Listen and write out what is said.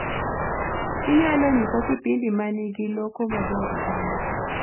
Inyalo nyisa kipindi manigi lokoo maber sana